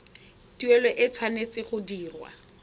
tuelo e tshwanetse go dirwa